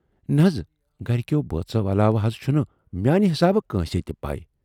نہَ حض۔ گرِکٮ۪و بٲژو علاوٕ حض چُھنہٕ میانہِ حِسابہٕ کٲنسہِ تہِ پےَ۔